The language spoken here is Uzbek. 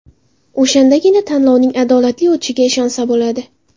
O‘shandagina tanlovning adolatli o‘tishiga ishonsa bo‘ladi.